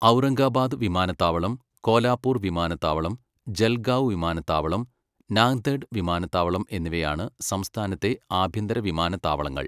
ഔറംഗബാദ് വിമാനത്താവളം, കോലാപൂർ വിമാനത്താവളം, ജൽഗാവ് വിമാനത്താവളം, നാന്ദെഡ് വിമാനത്താവളം എന്നിവയാണ് സംസ്ഥാനത്തെ ആഭ്യന്തര വിമാനത്താവളങ്ങൾ.